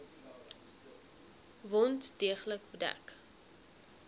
wond deeglik bedek